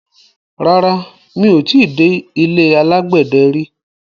Rárá, mi ò ti dé ilé alágbẹ̀dẹ rí.